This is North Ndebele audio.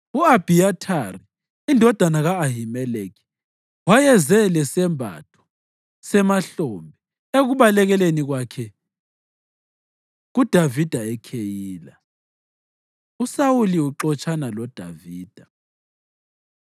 (U-Abhiyathari indodana ka-Ahimeleki wayeze lesembatho semahlombe ekubalekeleni kwakhe kuDavida eKheyila.) USawuli Uxotshana LoDavida